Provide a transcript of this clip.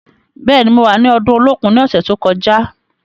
Bẹ́ẹ̀ni, mo wà ni ọdún Olókun ní ọ̀sẹ̀ tó kọjá.